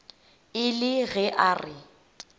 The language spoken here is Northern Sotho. e le ge a re